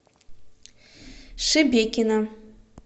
шебекино